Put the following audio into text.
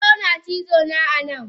Sauro na cizona anan.